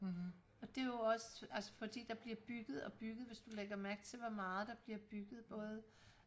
og det er jo også altså fordi der bliver bygget og bygget hvis du lægger mærke til hvor meget der bliver bygget både